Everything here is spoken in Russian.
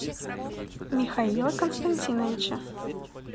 михаила константиновича